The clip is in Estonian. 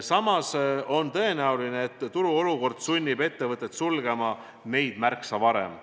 Samas on tõenäoline, et turuolukord sunnib ettevõtet sulgema neid märksa varem.